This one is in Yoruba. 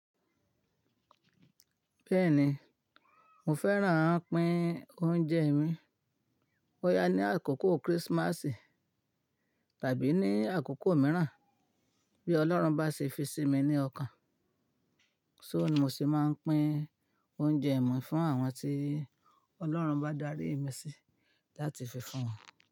Bẹ́ẹ̀ni, mo fẹ́ràn à ń pín oúnjẹ mi. Bọ́ yá ní àkókò kírísímásì tàbí ní àkókò mìíràn, bí Ọlọ́run bá ṣe fi sí mi ní ọkàn. Só ni mo sì máa ń pín oúnjẹ mi fún àwọn tí Ọlọ́run bá darí mi sí láti fi fún wọn.